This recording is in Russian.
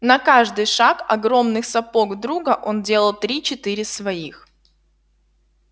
на каждый шаг огромных сапог друга он делал три четыре своих